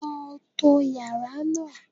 Lọ to yàrá náà.